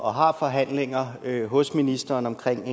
og har forhandlinger hos ministeren omkring